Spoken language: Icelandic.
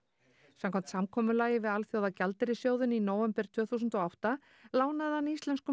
samkvæmt samkomulagi við Alþjóðagjaldeyrissjóðinn í nóvember tvö þúsund og átta lánaði hann íslenskum